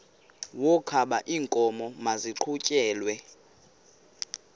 wokaba iinkomo maziqhutyelwe